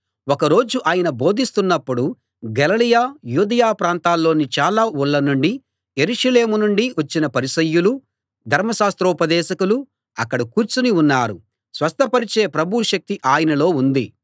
ఒక రోజు ఆయన బోధిస్తున్నపుడు గలిలయ యూదయ ప్రాంతాల్లోని చాలా ఊళ్ళ నుండీ యెరూషలేము నుండీ వచ్చిన పరిసయ్యులూ ధర్మశాస్త్రోపదేశకులూ అక్కడ కూర్చుని ఉన్నారు స్వస్థపరచే ప్రభువు శక్తి ఆయనలో ఉంది